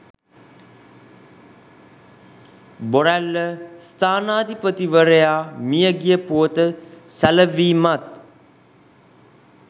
බොරැල්ල ස්ථානාධිපතිවරයා මිය ගිය පුවත සැලවීමත්